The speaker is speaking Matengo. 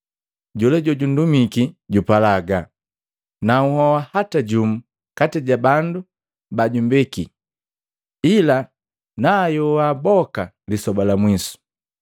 Jola jojundumiki jupala haga, naunhoa hata jumu kati ja bandu ba jumbeki ila nanhyoha boka lisoba la mwiso.